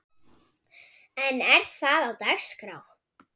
En er það á dagskrá?